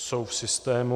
Jsou v systému.